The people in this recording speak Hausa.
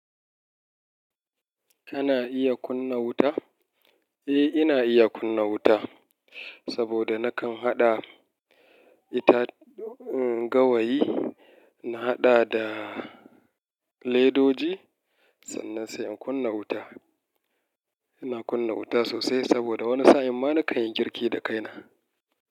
Kana iya kunna wuta? Eh, ina iya kunna wuta saboda nakan haɗa ita gawayi. Na haɗa da ledoji sannan sai in kunna wuta. Ina kunna wuta sosai saboda wani sa'in ma na kan yi girki da kaina.